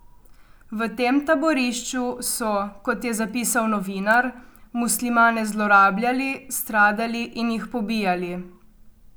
V tem taborišču so, kot je zapisal novinar, muslimane zlorabljali, stradali in jih pobijali.